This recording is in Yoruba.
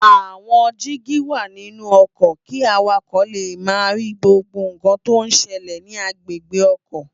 Awòn digi wá ninú òkò ki àwákò lé má ri gbógbó nkán tó n sèlè ni agbégbé òkò